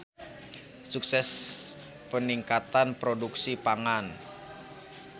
Sukses Peningkatan Produksi Pangan.